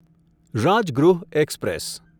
Rajgriha express